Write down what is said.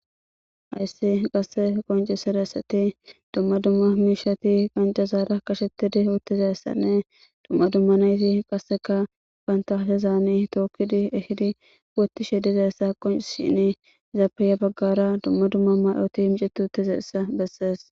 Hays qaseka qoncisidaysat dumma dumma qonciza qashetid utidaysanne dumma dumma asatika banta hashezan tokid ehid wothishe dizaysa qoncisishin, izappe ya bagara dumma dumma mayor micwt utidaysa beses.